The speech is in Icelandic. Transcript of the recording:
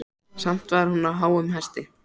Samt var hún á háum hesti.